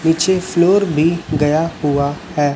पीछे फ्लोर भी गया हुआ है।